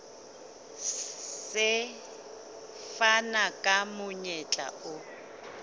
se fana ka monyetla o